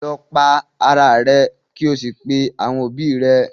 Lọ para rẹ kí ò pè àwọn òbí rẹ.